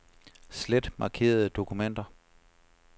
Slet markerede dokumenter.